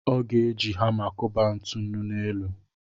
Ọ ga-eji hama kụba ntụnụ n'elu.